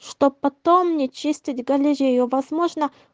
чтоб потом не чистить галерею возможно